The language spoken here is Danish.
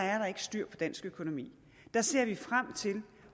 er styr på dansk økonomi at der ser vi frem til